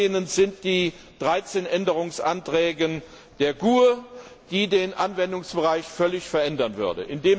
werden können. Abzulehnen sind die 13 Änderungsanträge der GUE, die den Anwendungsbereich völlig verändern